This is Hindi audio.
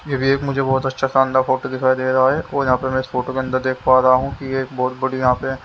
ये भी एक मुझे बहोत अच्छा शानदार फोटो दिखाई दे रहा है और यहां पर मैं इस फोटो के अंदर देख पा रहा हूं कि ये एक बहोत बड़ी यहां पे--